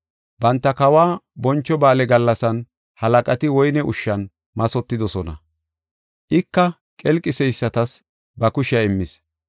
Banta kawa boncho ba7aale gallasan halaqati woyne ushshan mathotidosona. Ika qelqiseysatas ba kushiya immis.